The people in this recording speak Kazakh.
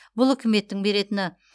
бұл үкіметтің беретіні